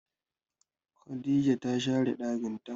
Khadijah ta share ɗakin ta.